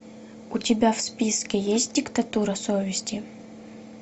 у тебя в списке есть диктатура совести